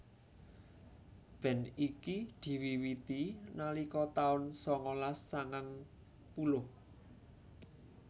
Band iki diwiwiti nalika taun sangalas sangang puluh